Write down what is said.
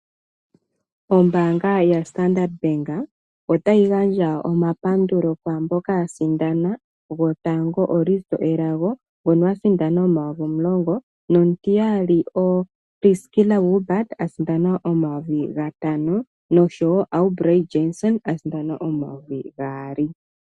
Ombaanga yaStandard Bank otayi gandja omapandulo kwaamboka yasindana. Ngoka asindana gwotango Risto elago ngoka a sindana N$10 000, omutiyali oPriskila Wilbard asindana N$5000 nosho wo Aubery Jansen asindana N$2000.